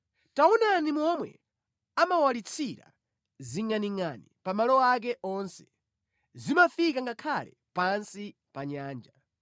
Taonani momwe amawalitsira zingʼaningʼani pa malo ake onse, zimafika ngakhale pansi pa nyanja.